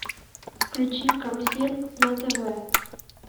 включи карусель на тв